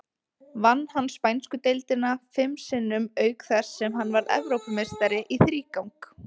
Vann hann spænsku deildina fim sinnum, auk þess sem hann varð Evrópumeistari í þrígang.